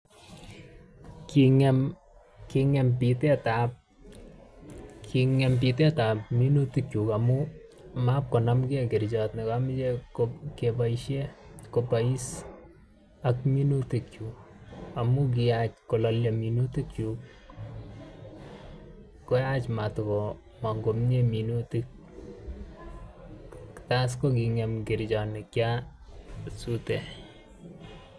Kingem, kingem pitetab minutikyuk amun maapkonamgee kerichot nekomoche kobois ak minutikyuk, amun kiyaach kololio minutikyuk koyach motokomong' komie minutik kokingem kerichot nekiasuten.